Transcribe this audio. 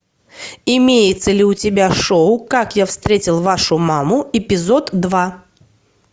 имеется ли у тебя шоу как я встретил вашу маму епизод два